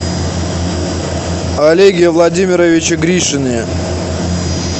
олеге владимировиче гришине